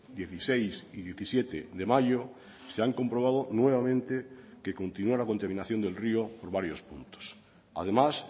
dieciséis y diecisiete de mayo se han comprobado nuevamente que continua la contaminación del río por varios puntos además